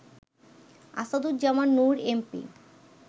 Asaduzzaman Noor MP